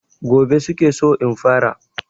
Gobe su ke so in fara.